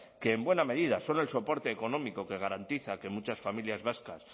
que en buena medida son el soporte económico que garantiza que muchas familias vascas